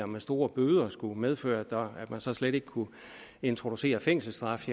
med store bøder skulle medføre at man så slet ikke kunne introducere fængselsstraf